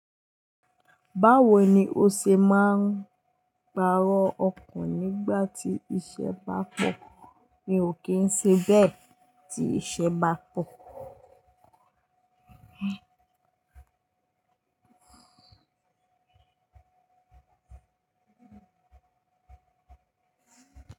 Báwo ni o ṣe máa ń pàrọ̀ okùn nígbà tí iṣẹ́ bá pọ̀? Mi ò kí ń ṣe bẹ́ẹ̀ tí iṣẹ́ bá pọ̀.